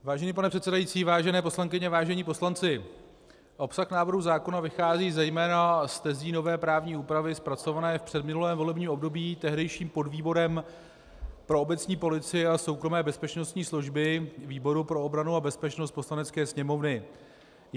Vážený pane předsedající, vážené poslankyně, vážení poslanci, obsah návrhu zákona vychází zejména z tezí nové právní úpravy zpracované v předminulém volebním období tehdejším podvýborem pro obecní policii a soukromé bezpečnostní služby výboru pro obranu a bezpečnost Poslanecké sněmovny.